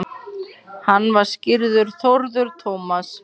Hann var skírður Þórður Tómas.